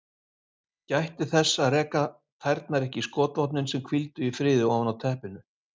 Gætti þess að reka tærnar ekki í skotvopnin sem hvíldu í friði ofan á teppinu.